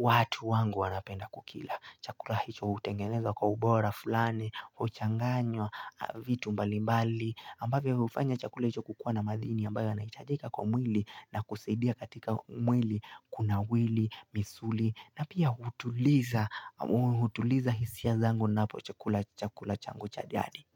watu wangu wanapenda kukila. Chakula hicho hutengenezwa kwa ubora fulani, huchanganywa vitu mbalimbali. Ambavyo hivyo hufanya chakula hicho kukua na madini ambayo yanahitajika kwa mwili na kusaidia katika mwili, kuna mwili, misuli. Na pia hutuliza, hutuliza hisia zangu napo chakula chakula changu cha jadi.